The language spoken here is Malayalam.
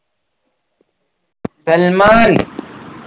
സൽമാൻ